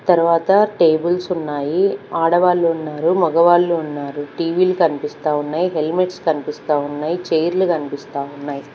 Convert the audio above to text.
తర్వాత టెబుల్స్ ఉన్నాయి ఆడ వాళ్ళు ఉన్నారు మగ వాళ్ళు ఉన్నారు టీ_వీ లు కనిపిస్తా ఉన్నాయ్ హెల్మెట్స్ కనిపిస్తా ఉన్నాయ్ చైర్లు కనిపిస్తా ఉన్నాయ్.